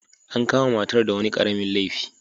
An kama matar da wani karamin laifi.